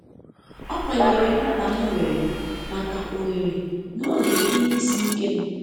ọkwanyere mkpa m nwere maka ohere n'oge ihe isi ike m